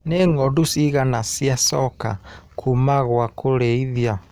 Nĩ ngondu cigana ciacoka kuma gwa kũrĩithia.